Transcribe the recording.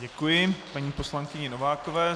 Děkuji paní poslankyni Novákové.